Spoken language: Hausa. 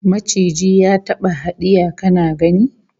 Maciji ya taba hadiya kana gani?